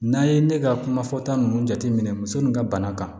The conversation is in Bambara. N'an ye ne ka kuma fɔ ta ninnu jateminɛ muso ninnu ka bana kan